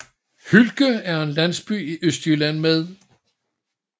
Hylke er en landsby i Østjylland med